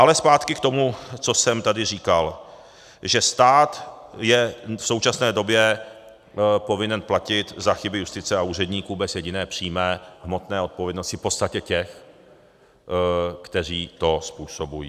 Ale zpátky k tomu, co jsem tady říkal, že stát je v současné době povinen platit za chyby justice a úředníků bez jediné přímé hmotné odpovědnosti v podstatě těch, kteří to způsobují.